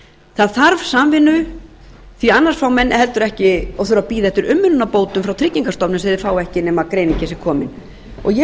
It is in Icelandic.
það þarf samvinnu því annars fá menn heldur ekki og þurfa að bíða eftir umönnunarbótum frá tryggingstofnun sem þeir fá ekki nema greiningin sé komin ég